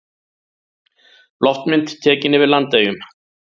Loftmynd tekin yfir Landeyjum.